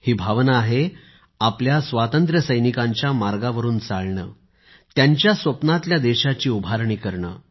ही भावना आहे आपल्या स्वातंत्र्यसैनिकांच्या मार्गावरुन चालणे त्यांच्या स्वप्नातल्या देशाची उभारणी करणे